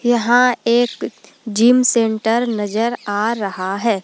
यहां एक gym centre नजर आ रहा है।